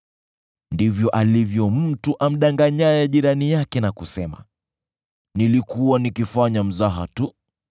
ndivyo alivyo mtu amdanganyaye jirani yake na kusema, “Nilikuwa nikifanya mzaha tu!”